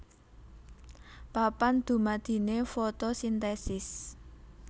Papan dumadiné fotosintesis